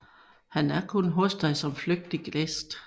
Han er hos dig kun som flygtig gæst